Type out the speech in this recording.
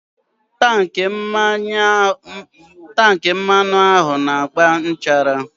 Tankị mmanụ ahụ na-agba nchara.